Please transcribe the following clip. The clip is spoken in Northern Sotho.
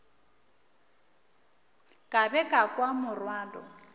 ka be ka kwa morwalo